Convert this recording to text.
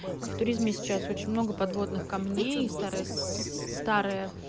в туризме сейчас очень много подводных камней из старой